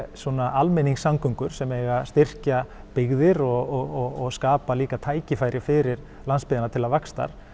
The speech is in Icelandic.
almenningssamgöngur sem eigi að styrkja byggðir og skapa líka tækifæri fyrir landsbyggðina til vaxtar